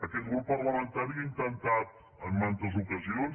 aquest grup parlamentari ha intentat en mantes ocasions